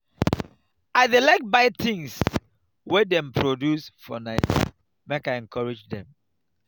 i dey like buy tins wey dem produce for naija make i encourage dem.